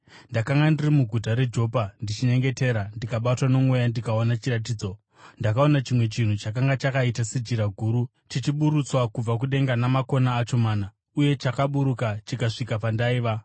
“Ndakanga ndiri muguta reJopa ndichinyengetera, ndikabatwa nomweya ndikaona chiratidzo. Ndakaona chimwe chinhu chakanga chakaita sejira guru, chichiburutswa kubva kudenga namakona acho mana, uye chakaburuka chikasvika pandaiva.